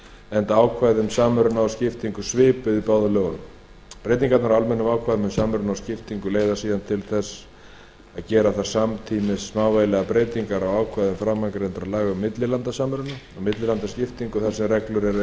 enda ákvæði um samruna og skiptingu svipuð í báðum lögunum breytingarnar á almennum ákvæðum um samruna og skiptingu leiða síðan til þess að gera þarf samtímis smávægilegar breytingar á ákvæðum framangreindra laga um millilandasamruna og millilandaskiptingu þar sem reglur eru